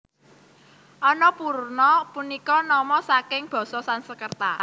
Annapurna punika nama saking basa Sansekerta